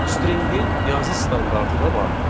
Docstringin yazı standardı da vardır.